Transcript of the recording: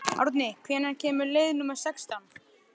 Árni, hvenær kemur leið númer sextán?